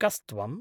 कस्त्वम्?